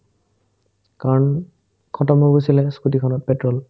কাৰণ khatam হৈ গৈছিলে স্কুটিখনত petrol